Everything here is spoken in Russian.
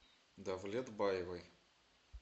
давлетбаевой